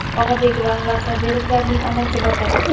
Og‘abek va Anvar Sobirovlarning onasi vafot etdi.